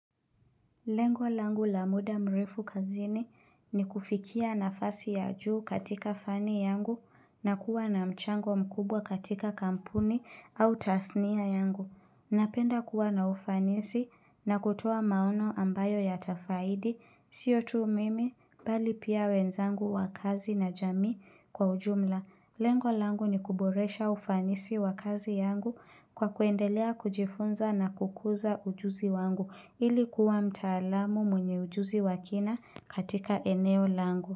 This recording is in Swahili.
Lengo langu la muda mrefu kazini ni kufikia nafasi ya juu katika fani yangu na kuwa na mchango mkubwa katika kampuni au tasnia yangu. Napenda kuwa na ufanisi na kutoa maono ambayo yatafaidi sio tu mimi bali pia wenzangu wa kazi na jamii kwa ujumla. Lengo langu ni kuboresha ufanisi wa kazi yangu kwa kuendelea kujifunza na kukuza ujuzi wangu ili kuwa mtalamu mwenye ujuzi wa kina katika eneo langu.